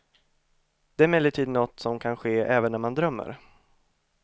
Det är emellertid något som kan ske även när man drömmer.